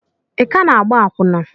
ị ka na-agba akwụna?